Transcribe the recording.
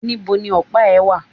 Nibo ni ọ̀pá ẹ̀ wà?